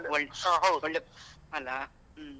ಒಳ್ಳೆ ಒಳ್ಳೆ ಅಲಾ ಹ್ಮ್.